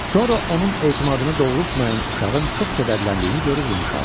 Sonra onun etimadını doğrultmayan uşağın çox kədərləndiyini görüb yumşaldı.